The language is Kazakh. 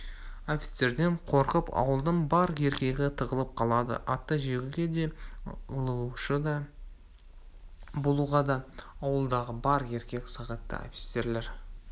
офицерден қорқып ауылдың бар еркегі тығылып қалады атты жегуге де ылаушы болуға да ауылдағы бар еркек сағитты офицерлер